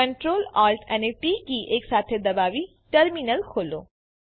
Ctrl Alt અને T key એકસાથે દબાવી ટર્મીનલ ખોલો